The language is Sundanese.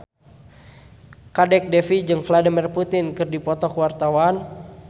Kadek Devi jeung Vladimir Putin keur dipoto ku wartawan